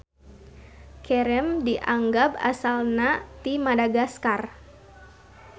Cereme dianggab asalna ti Madagaskar.